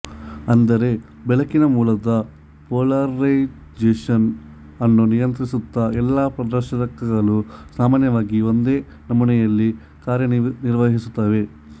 ಅಂದರೆ ಬೆಳಕಿನ ಮೂಲದ ಪೊಲಾರೈಜೇಷನ್ ಅನ್ನು ನಿಯಂತ್ರಿಸುತ್ತ ಎಲ್ಲಾ ಪ್ರದರ್ಶಕಗಳು ಸಾಮಾನ್ಯವಾಗಿ ಒಂದೇ ನಮೂನೆಯಲ್ಲಿ ಕಾರ್ಯನಿರ್ವಹಿಸುತ್ತವೆ